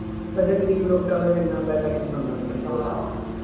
ਵੈਸੇ ਗਰੀਬ ਲੋਕਾਂ ਕੋਲ ਐਨਾ ਪੈਸਾ ਕਿੱਥੇ ਹੁੰਦਾ ਆਪਣੇ ਕੋਲ